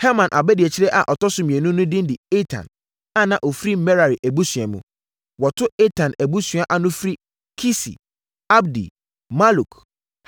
Herman abadiakyire a ɔtɔ so mmienu no din de Etan, a na ɔfiri Merari abusua mu. Wɔto Etan abusuadua ana firi Kisi, Abdi, Maluk,